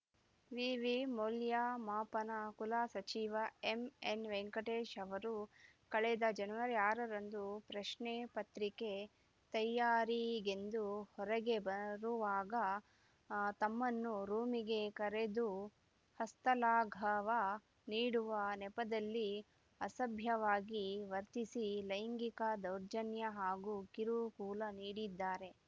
ವಿವಿ ಮೌಲ್ಯಮಾಪನ ಕುಲಸಚಿವ ಎಂಎನ್‌ವೆಂಕಟೇಶ ಅವರು ಕಳೆದ ಜನವರಿ ಆರರಂದು ಪ್ರಶ್ನೆ ಪತ್ರಿಕೆ ತೈಯಾರಿಗೆಂದು ಹೊರಗೆ ಬರುವಾಗ ತಮ್ಮನ್ನು ರೂಮಿಗೆ ಕರೆದು ಹಸ್ತಲಾಘವ ನೀಡುವ ನೆಪದಲ್ಲಿ ಅಸಭ್ಯವಾಗಿ ವರ್ತಿಸಿ ಲೈಂಗಿಕ ದೌರ್ಜನ್ಯ ಹಾಗೂ ಕಿರುಕುಳ ನೀಡಿದ್ದಾರೆ